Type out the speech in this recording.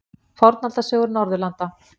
Fornaldarsögur Norðurlanda.